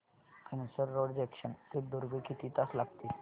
Tumsar road junction ते दुर्ग किती तास लागतील